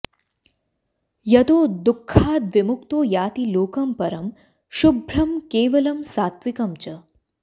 यतो दुःखाद्विमुक्तो याति लोकं परं शुभ्रं केवलं सात्विकं च